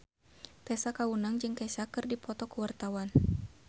Tessa Kaunang jeung Kesha keur dipoto ku wartawan